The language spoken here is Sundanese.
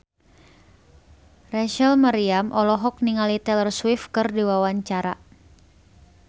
Rachel Maryam olohok ningali Taylor Swift keur diwawancara